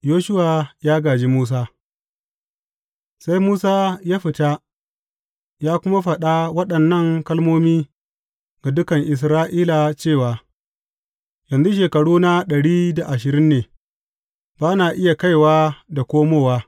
Yoshuwa ya gāji Musa Sai Musa ya fita ya kuma faɗa waɗannan kalmomi ga dukan Isra’ila cewa, Yanzu shekaruna ɗari da ashirin ne, ba na iya kaiwa da komowa.